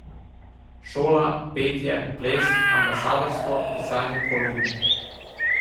Šola, petje, ples, ambasadorstvo, pisanje kolumn ...